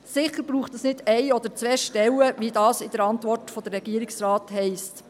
Es braucht sicher nicht eine oder zwei Stellen, wie es in der Antwort der Regierung heisst.